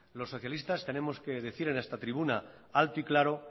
los socialistas tenemos que decir en esta tribuna alto y claro